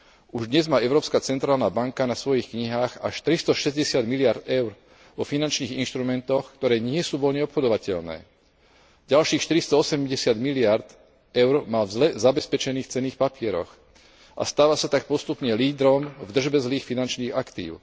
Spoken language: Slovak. Už dnes má Európska centrálna banka na svojich knihách až 360 miliárd eur vo finančných inštrumentoch, ktoré nie sú voľne obchodovateľné. Ďalších 480 miliárd eur má v zle zabezpečených cenných papieroch a stáva sa tak postupne lídrom v držbe zlých finančných aktív.